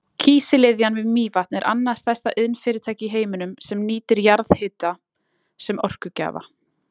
Kísiliðjan við Mývatn er annað stærsta iðnfyrirtæki í heiminum sem nýtir jarðhita sem orkugjafa.